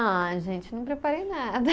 Ah, gente, não preparei nada.